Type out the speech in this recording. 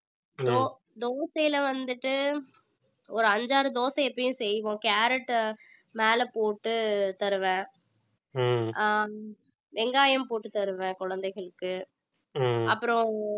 தோ~ தோசையில வந்துட்டு ஒரு அஞ்சு ஆறு தோசை எப்பயும் செய்வோம் carrot மேல போட்டு தருவேன் வெங்காயம் போட்டு தருவேன் குழந்தைகளுக்கு அப்புறம்